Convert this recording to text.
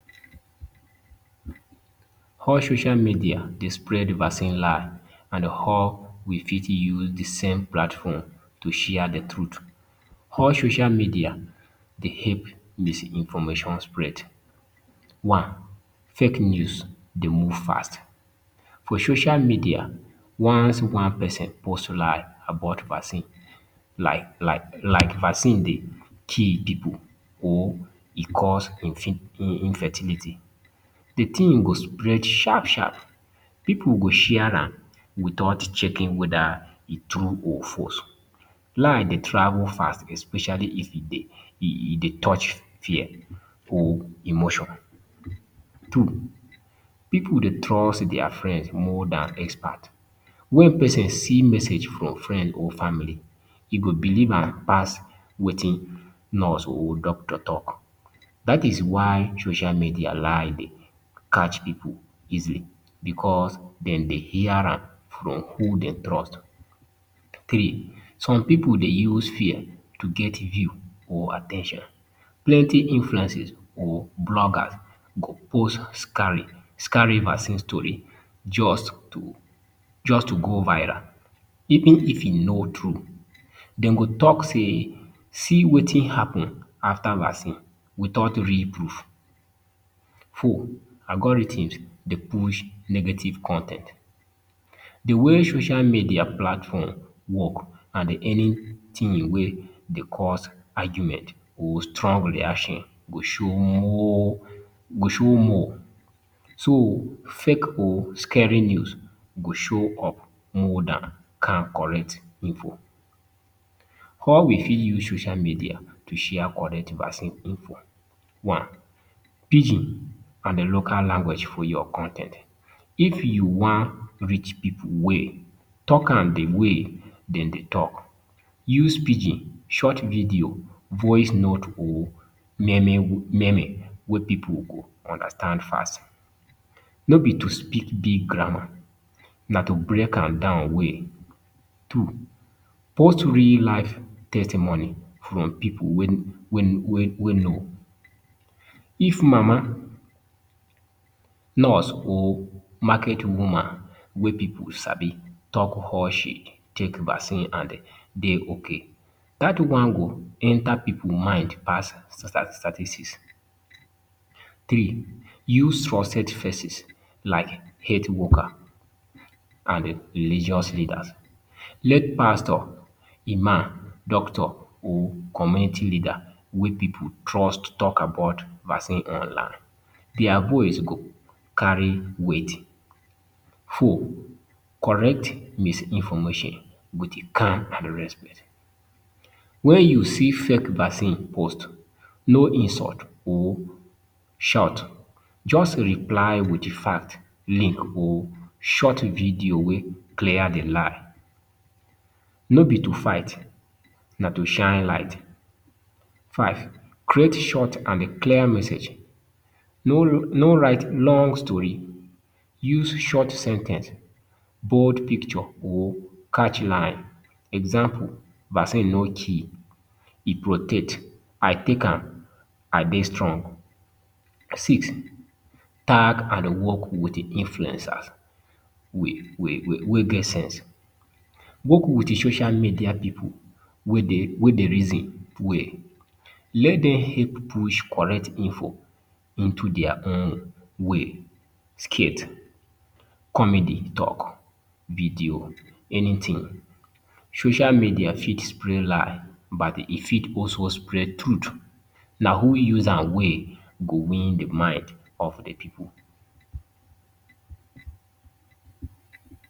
How social media Dey spread vaccine lie and how we fit use d same platform to share d truth, how social media Dey help misinformation spread, one, fake news Dey move fast, for social media once one person post lie about vaccine like vaccine Dey kill pipu or e cause infertility, d tin go spread sharp sharp pipu go share am without checking weda e tru or false, lie Dey travel fast especially if e Dey e dey touch fear or emotion. Two, pipu Dey trust their friends more Dan expert, wen persin see message from friend or family e go believe am pass Wetin nurse or doctor talk, dat is why social media lie Dey catch pipu easily because dem Dey hear am from who Dey trust, three, some pipu Dey use fear to get view or at ten tion, plenty influences and bloggers go post scary vaccine story jus to go viral, even if e no true dem go talk say see Wetin happen afta vaccine without real proof. Four, algorithm Dey push negative con ten t, d way social media platform work na anytin wey Dey cause argument or strong reaction go show more go show more, so fake or scary news go show up more than calm correct info. How we fit use social media to share correct vaccine info, one, pidgin and local language for your con ten t, if u wan reach pipu well talk am d way dem Dey talk, use pidgin, short video, voice note, or meme wey pipu go understand fast, no b to speak big grammar na to break am down well, two, post real life testimony from pipu wey know, if mama nurse or market woman wey pipu sabi talk how she take vaccine and Dey okay, dat one go enta pipu mind pass statistics. Three, use trusted faces like health worker and religious leaders, let pastor, Imam, doctor or community leader wey pipu trust talk about vaccine online, their voice go carry weight, four, correct misinformation wit calm and respect, wen u see fake vaccine post, no insult or shout just reply with fact, link or short video wey clear d lie, no b to fight na to shine light, five, create short and clear message no no write long stori, use short sen ten ce, bold picture or catchy line, example vaccine no kee e protect I take am I Dey strong. Six, tag and work with influencers wey get sense, work with social media pipu wey wey Dey reason well, make dem help push correct info into their own way, skit, comedy, talk, video, anything. Social media got spread lie but e fit also spread truth, na who use am well go win d mind of d pipu.